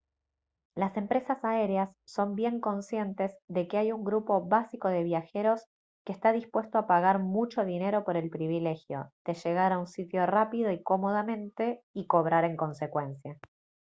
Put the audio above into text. las empresas aéreas son bien conscientes de que hay un grupo básico de viajeros que está dispuesto a pagar mucho dinero por el privilegio de llegar a un sitio rápido y cómodamente y cobrar en consecuencia